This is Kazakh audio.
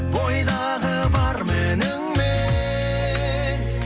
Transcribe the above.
бойдағы бар мініңмен